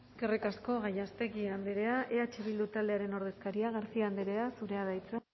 eskerrik asko gallástegui andrea eh bildu taldearen ordezkaria garcia andrea zurea da hitza